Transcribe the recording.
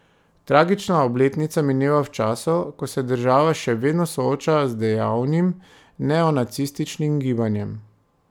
Tragična obletnica mineva v času, ko se država še vedno sooča z dejavnim neonacističnim gibanjem.